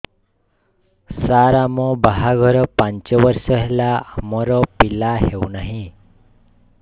ସାର ଆମ ବାହା ଘର ପାଞ୍ଚ ବର୍ଷ ହେଲା ଆମର ପିଲା ହେଉନାହିଁ